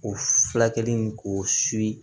O furakɛli in k'o siri